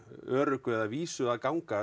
öruggu eða vísu að ganga